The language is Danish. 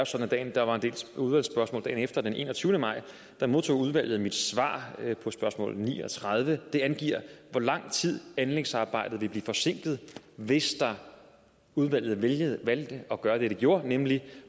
sådan at der var en del udvalgsspørgsmål dagen efter og den enogtyvende maj modtog udvalget mit svar på spørgsmål ni og tredive det angiver hvor lang tid anlægsarbejdet vil blive forsinket hvis udvalget valgte at gøre det de gjorde nemlig